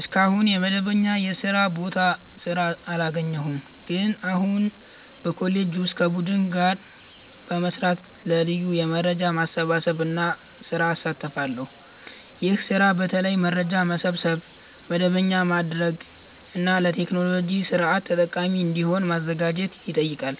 እስካሁን በመደበኛ የስራ ቦታ ስራ አላገኘሁም፣ ግን አሁን በኮሌጄ ውስጥ ከቡድን ጋር በመስራት ለ ልዩ የመረጃ ማሰባሰብ ስራ እሳተፋለሁ። ይህ ስራ በተለይ መረጃ መሰብሰብ፣ መደበኛ ማድረግ እና ለቴክኖሎጂ ስርዓት ጠቃሚ እንዲሆን ማዘጋጀት ይጠይቃል።